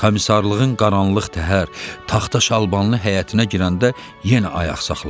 Komisarlığın qaranlıq təhər, taxta şalbanlı həyətinə girəndə yenə ayaq saxladı.